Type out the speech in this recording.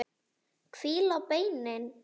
Hvíla beinin.